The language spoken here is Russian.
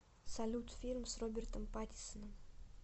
салют фильм с робертом патисоном